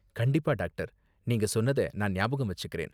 கண்டிப்பா, டாக்டர்! நீங்க சொன்னத நான் ஞாபகம் வச்சுக்கிறேன்.